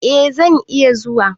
Eh zan iya zuwa.